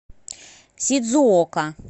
сидзуока